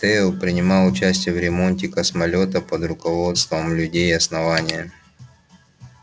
тео принимал участие в ремонте космолёта под руководством людей основания